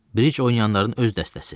Bridge oynayanların öz dəstəsi.